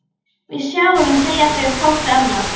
Við sjáumst, segja þau hvort við annað.